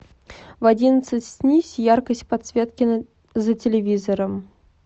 в одиннадцать снизь яркость подсветки за телевизором